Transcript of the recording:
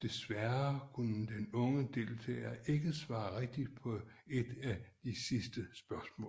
Desværre kunne den unge deltager ikke svare rigtigt på et af de sidste spørgsmål